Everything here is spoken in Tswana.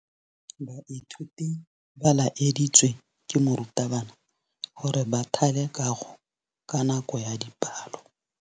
Baithuti ba laeditswe ke morutabana gore ba thale kagô ka nako ya dipalô.